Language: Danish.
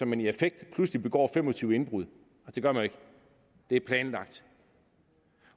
man i affekt pludselig begår fem og tyve indbrud det gør man ikke det er planlagt